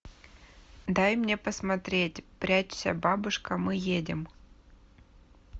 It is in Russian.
дай мне посмотреть прячься бабушка мы едем